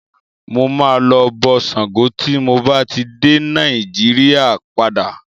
Mo máa lọ bọ Ṣàngó tí mo bá ti dé Nàíjíríà padà.